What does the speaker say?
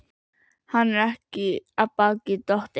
Hann er ekki af baki dottinn.